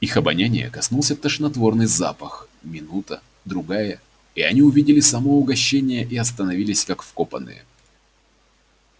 их обоняния коснулся тошнотворный запах минута другая и они увидели само угощение и остановились как вкопанные